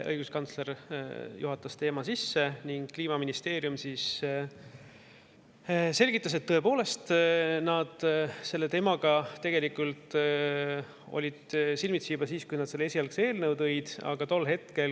Õiguskantsler juhatas teema sisse ning Kliimaministeeriumi selgitas, et nad olid selle teemaga tõepoolest silmitsi juba siis, kui nad selle esialgse eelnõu siia tõid.